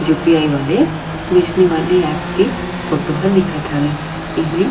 You. P. I. वइसने वाले app पे फोटो ह दिखत हवे ऐ में--